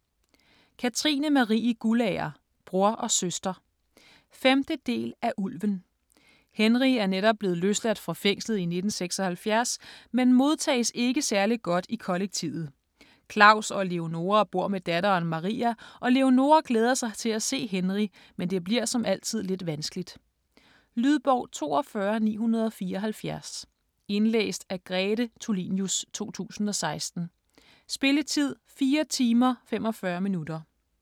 Guldager, Katrine Marie: Bror og søster 5. del af Ulven. Henry er netop blevet løsladt fra fængslet i 1976, men modtages ikke særlig godt i kollektivet. Klaus og Leonora bor med datteren Maria, og Leonora glæder sig til at se Henry, men det bliver som altid lidt vanskeligt. Lydbog 42974 Indlæst af Grete Tulinius, 2016. Spilletid: 4 timer, 45 minutter.